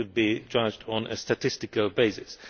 It should be judged on a statistical basis.